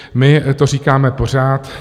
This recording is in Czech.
My to říkáme pořád.